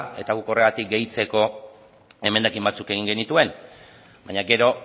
eta guk horregatik gehitzeko emendakin batzuk egin genituen baina gero